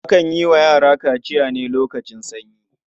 Akan yi wa yara kaciya ne lokacin sanyi.